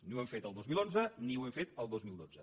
ni ho hem fet el dos mil onze ni ho hem fet el dos mil dotze